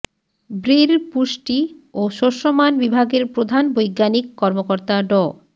ব্রির পুষ্টি ও শস্যমান বিভাগের প্রধান বৈজ্ঞানিক কর্মকর্তা ড